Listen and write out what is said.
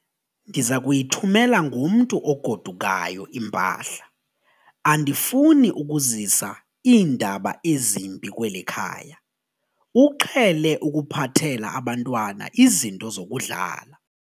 Ndiza kuyithumela ngomntu ogodukayo impahla. andifuni ukuzisa iindaba ezimbi kweli khaya, uqhele ukuphathela abantwana izinto zokudlala